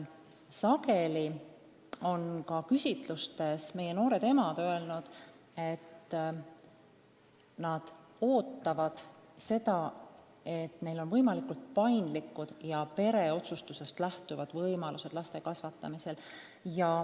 Sageli on meie noored emad küsitlustes öelnud, et nad ootavad seda, et neil on paindlikud ja pereotsustusest lähtuvad võimalused laste kasvatamisel.